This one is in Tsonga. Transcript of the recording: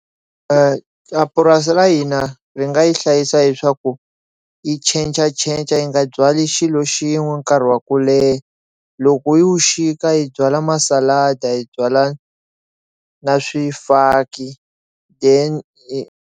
Purasi ra hina ri nga yi hlayisa hileswaku yi changer changer yi nga byali xilo xin'we nkarhi wa ku leha loko yi wu xika hi byala hi byala na swifaki then.